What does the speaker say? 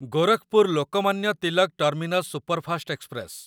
Gorakhpur Lokmanya Tilak terminus superfast express